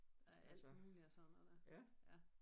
Der er alt muligt af sådan noget der ja